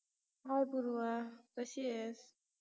hi Purva कशी आहेस?